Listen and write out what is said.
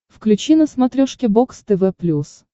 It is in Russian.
включи на смотрешке бокс тв плюс